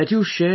Yes Sir